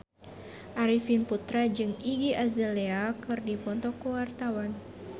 Arifin Putra jeung Iggy Azalea keur dipoto ku wartawan